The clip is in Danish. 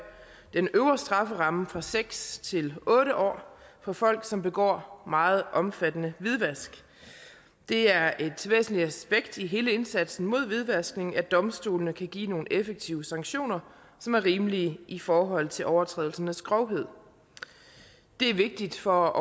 den øvre strafferamme fra seks år til otte år for folk som begår meget omfattende hvidvask det er et væsentligt aspekt i hele indsatsen mod hvidvaskning at domstolene kan give nogle effektive sanktioner som er rimelige i forhold til overtrædelsernes grovhed det er vigtigt for